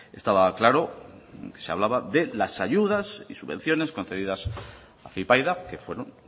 estaba claro se hablaba de las ayudas y subvenciones concedidas a afypaida que fueron